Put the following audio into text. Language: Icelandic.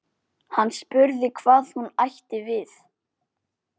Hann spurði hvað hún ætti við.